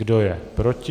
Kdo je proti?